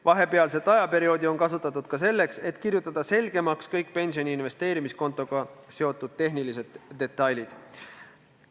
Vahepealset ajaperioodi on kasutatud ka selleks, et kirjutada selgemaks kõik pensioni investeerimiskontoga seotud tehnilised detailid.